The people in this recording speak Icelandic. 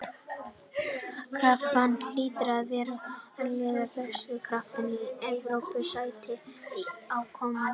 Krafan hlýtur að vera á að liðið berjist af krafti um Evrópusæti á komandi tímabili.